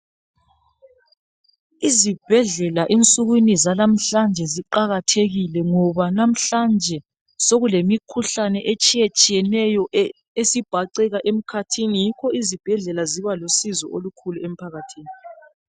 IZibhedlela ensukwini zalamhlanje ziqakathekile ngoba namhlanje sokule mikhukhane etshiyetshiyeneyo esibhaceka emkhathini yikho iZibhedlela zibalusizo emphakathini.